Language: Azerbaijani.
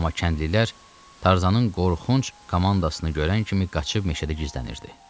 Amma kəndlilər Tarzanın qorxunc komandasını görən kimi qaçıb meşədə gizlənirdi.